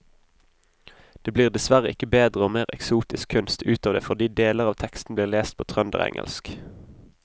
Det blir dessverre ikke bedre og mer eksotisk kunst ut av det fordi deler av teksten blir lest på trønderengelsk.